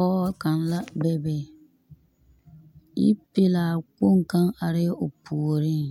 Pͻge kaŋa la bebe, yipelaa kpoŋi arԑԑ o puoriŋ.